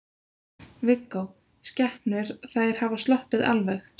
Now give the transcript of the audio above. Viggó: Skepnur, þær hafa sloppið alveg?